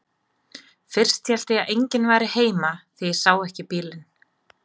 Fyrst hélt ég að enginn væri heima því ég sá ekki bílinn.